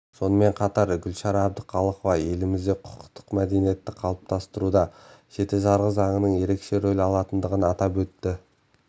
сонымен қатар гүлшара әбдіқалықова елімізде құқықтық мәдениетті қалыптастыруда жеті жарғы заңының ерекше рөл алатындығын атап өтті